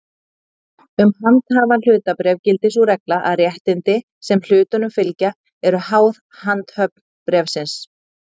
Um handhafahlutabréf gildir sú regla að réttindi, sem hlutunum fylgja, eru háð handhöfn bréfsins.